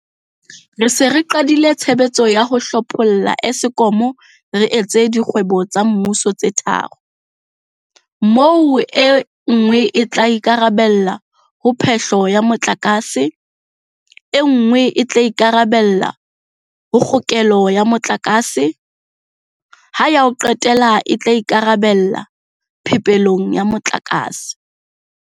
Re se re qadile tshebetso ya ho hlopholla Eskom re e etsa dikgwebo tsa mmuso tse tharo, moo e nngwe e tla ikarabella ho phe-hlo ya motlakase, e nngwe e tla ikarabella ho kgokelo ya motlakase, ha ya ho qetela e tla ikarabella phepelong ya motlakase.